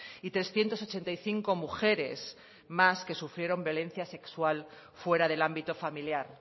y trescientos ochenta y cinco mujeres más que sufrieron violencia sexual fuera del ámbito familiar